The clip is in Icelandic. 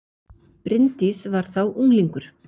Bryndís var þá unglingur.